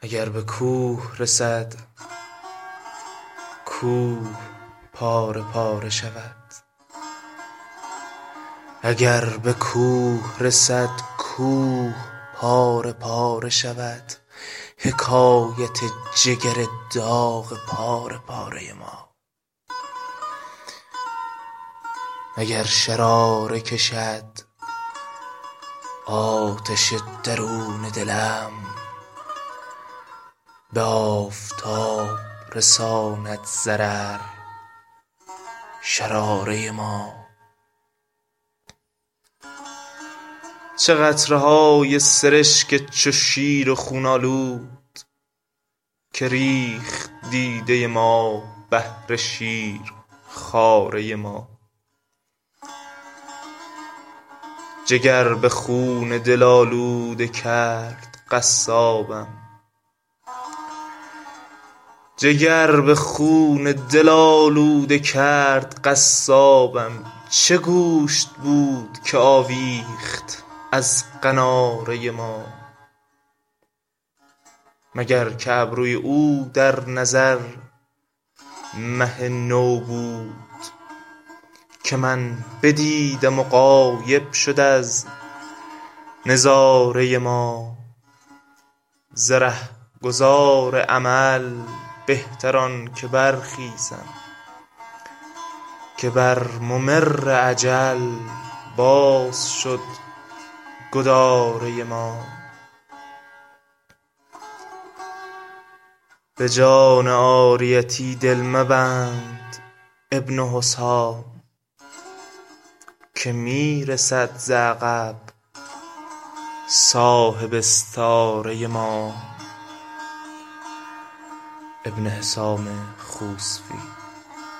اگر به کوه رسد کوه پاره پاره شود حکایت جگر داغ پاره پاره ما اگر شراره کشد آتش درون دلم به آفتاب رساند ضرر شراره ما چه قطره های سرشک چو شیر خون آلود که ریخت دیده ما بهر شیرخواره ما جگر به خون دل آلوده کرد قصابم چه گوشت بود که آویخت از قناره ما مگر که ابروی او در نظر مه نو بود که من بدیدم و غایب شد از نظاره ما ز رهگذار امل بهتر آنکه برخیزم که بر ممر اجل باز شد گداره ما به جان عاریتی دل مبند ابن حسام که می رسد ز عقب صاحب استعاره ما